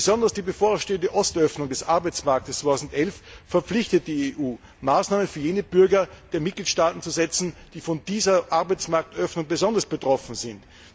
Besonders die bevorstehende Ostöffnung des Arbeitsmarkts 2011 verpflichtet die EU, Maßnahmen für jene Bürger der EU Mitgliedstaaten zu treffen, die von dieser Arbeitsmarktsöffnung besonders betroffen sind.